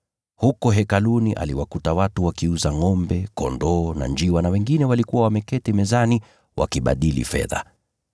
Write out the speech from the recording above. Huko Hekaluni aliwakuta watu wakiuza ngʼombe, kondoo na njiwa, nao wengine walikuwa wameketi mezani wakibadili fedha.